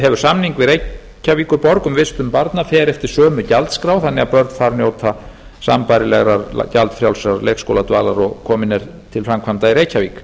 hefur samning við reykjavíkurborg um vistun barna fer eftir sömu gjaldskrá þannig að börn þar njóta sambærilegrar gjaldfrjálsrar leikskóladvalar og komin er til framkvæmda